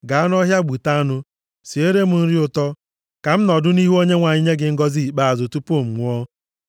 ‘Gaa nʼọhịa gbute anụ, siere m nri ụtọ, ka m nọdụ nʼihu Onyenwe anyị nye gị ngọzị ikpeazụ tupu m nwụọ.’